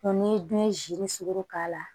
ni bin ye sugu k'a la